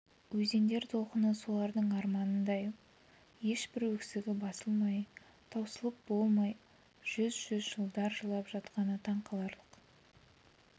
өзендер толқыны солардың арманындай ешбір өксігі басылмай таусылып болмай жүз-жүз жылдар жылап жатқаны таңқаларлық